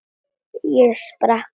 Ég sprakk aftur.